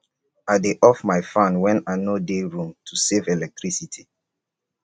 i dey off my fan when i no dey room to save electricity